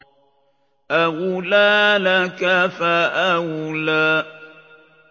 أَوْلَىٰ لَكَ فَأَوْلَىٰ